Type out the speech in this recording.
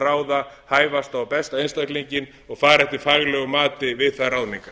ráða hæfasta og besta einstaklinginn og fara eftir faglegu mati við þær ráðningar